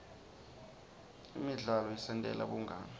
imidzalo isentela bungani